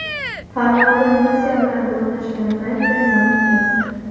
Farg‘onada Nexia bilan to‘qnashgan Tracker yonib ketdi.